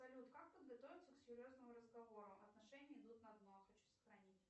салют как подготовиться к серьезному разговору отношения идут на дно хочу сохранить